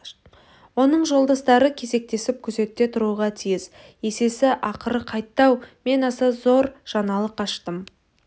оның жолдастары кезектесіп күзетте тұруға тиіс есесі ақыры қайтты-ау мен аса зор жаңалық аштым